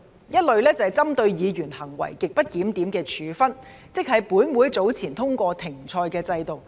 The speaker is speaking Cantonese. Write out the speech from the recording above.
一類是針對議員行為極不檢點的處分，即是本會早前通過"停賽"的制度。